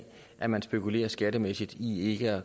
at man spekulerer skattemæssigt i ikke at